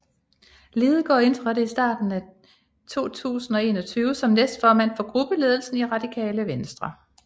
Lidegaard indtrådte starten af 2021 som næstformand for gruppeledelsen i Radikale Venstre